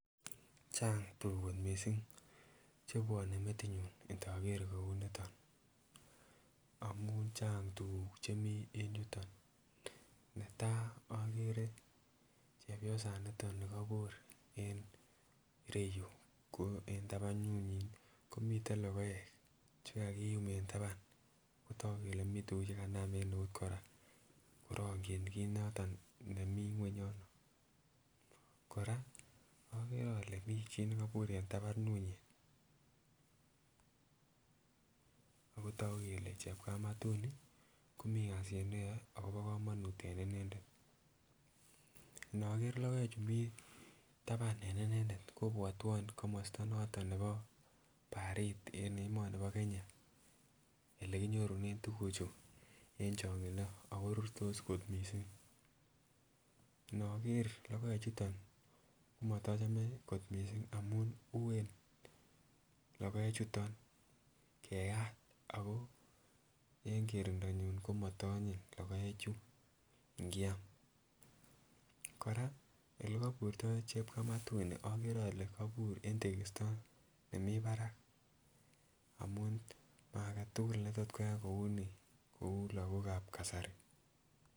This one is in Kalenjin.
Chang tukuk kot missing chebwone metinyu ndoker kouniton amun chang tukuk chemii en yuton, netai okere chepyosaniton nikobur en ireyuu ko en tabanunyin komiten lokoek chekakiyum en taban kotok keloe mii tukuk chekamam en eut Koraa korongit kit noton nemii ngwony yono. Koraa okere ole mii chii nekobur en tabanunyin akotoku kele chepkamatut nii komii kasit neyoe akobo komonut en Inendet, inokere lokoek chuu mii taban en inendet kobwotwon komosto noton neboo barit en emoni bo Kenya, ele kinyorunen tukuchu en chongindo ako rurtos kot missing. Inkoker lokoek chuton komotochome kot missing amun uen lokoek chuton keyat ako en kerundonyun komoto onyin lokoek chuu ikiam. Koraa ole koburyo chepkamatuni okere ole kobur en tekisto nemii barak amun maaketukul netot koyai kouni kou lokok ab kasari.